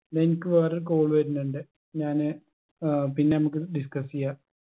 എനിക്ക് വേറൊരു call വരുന്നുണ്ട് ഞാന് ഏർ പിന്നെ നമ്മക്ക് discuss എയ്യാ